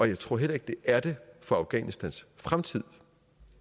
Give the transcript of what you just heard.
jeg tror heller ikke det er det for afghanistans fremtid